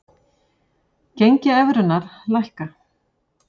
Gengi evrunnar lækkar